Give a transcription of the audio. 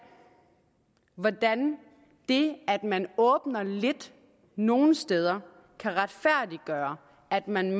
hvordan det at man åbner lidt nogle steder kan retfærdiggøre at man